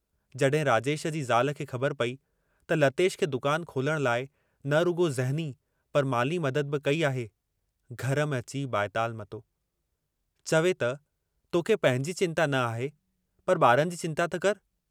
जहिं राजेश जी ज़ाल खे ख़बर पेई त लतेश खे दुकान खोलण लाइ न रुॻो ज़हनी पर माली मदद बि कई आहे, घर में अची बाएताल मतो, चवे त तोखे पंहिंजी चिंता न आहे, पर ॿारनि जी चिंता त करि।